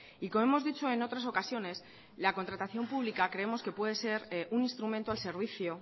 y como hemos dicho en otras ocasiones la contratación pública creemos que puede ser un instrumento al servicio